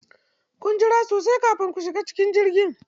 Kun jira sosai kafin ku shiga cikin jirgi?